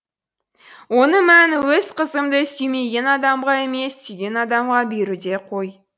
оның мәні өз қызымды сүймеген адамға емес сүйген адамға беруде ғой